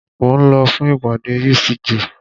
Mo ń lọ fún ìpàdé UCJ.